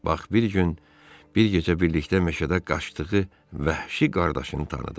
Bak bir gün, bir gecə birlikdə meşədə qaçdığı vəhşi qardaşını tanıdı.